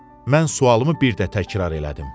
Mən sualımı bir də təkrar elədim.